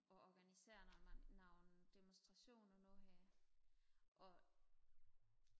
og organiserer når man nogle demostrationer nu her og